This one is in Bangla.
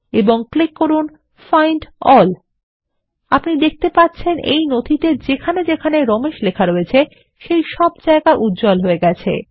এবং ক্লিক করুন ফাইন্ড এএলএল আপনি দেখতে পাচ্ছেন এই নথিতে যেখানে যেখানে রমেশ লেখা রয়েছে সেই সব জায়গা উজ্জ্বল হয়ে গেছে